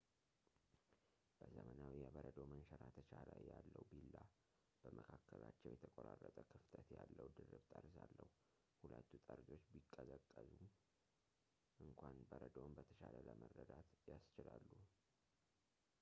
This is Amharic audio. በዘመናዊ የበረዶ መንሸራተቻ ላይ ያለው ቢላ በመካከላቸው የተቆራረጠ ክፍተት ያለው ድርብ ጠርዝ አለው ሁለቱ ጠርዞች ቢቀዘቅዙም እንኳን በረዶውን በተሻለ ለመረዳት ያስችላሉ